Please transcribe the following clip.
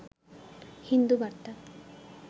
হিন্দু বার্তা